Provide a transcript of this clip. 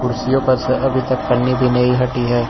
कुर्सियों पर से अभी तक पन्नी भी नही हटी है।